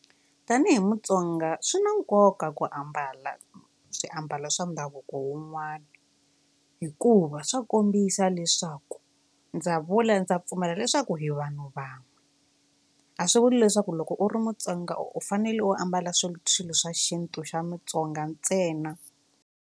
Tanihi Mutsonga swi na nkoka ku ambala swiambalo swa ndhavuko wun'wana hikuva swa kombisa leswaku ndza vula ndza pfumela leswaku hi vanhu vanhu a swi vuli leswaku loko u ri Mutsonga u fanele u ambala swilo swilo swa xintu xa Mutsonga ntsena.